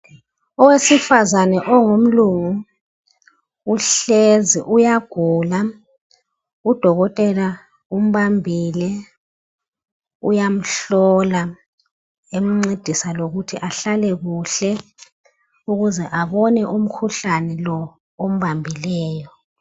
Owesifazane ongumlungu uhlezi uyagula udokotela umbambile uyamhlola emcedisa lokuthi ahlale kuhle ukuze abone umkhuhlane lo ombambileyo.